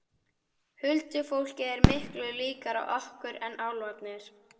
Huldufólkið er miklu líkara okkur en álfarnir.